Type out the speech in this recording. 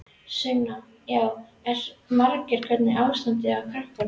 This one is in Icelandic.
Sunna: Já, hvað eru margir, hvernig er ástandið á krökkunum?